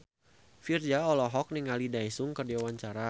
Virzha olohok ningali Daesung keur diwawancara